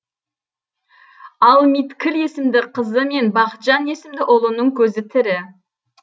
ал миткіл есімді қызы мен бақытжан есімді ұлының көзі тірі